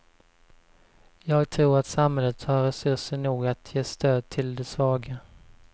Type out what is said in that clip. Jag tror att samhället har resurser nog att ge stöd till de svaga.